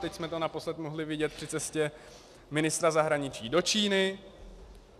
Teď jsme to naposled mohli vidět při cestě ministra zahraničí do Číny.